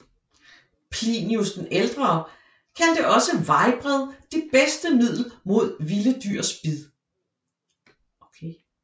Plinius den ældre kaldte også vejbred det bedste middel mod vilde dyrs bid